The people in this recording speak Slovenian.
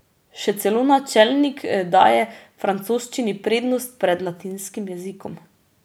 Še celo načelnik daje francoščini prednost pred latinskim jezikom.